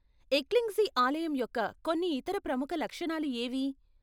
ఎక్లింగ్జీ ఆలయం యొక్క కొన్ని ఇతర ప్రముఖ లక్షణాలు ఏవి?